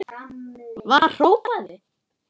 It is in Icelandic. var hrópað.